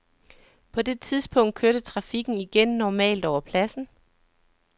På det tidspunkt kørte trafikken igen normalt over pladsen.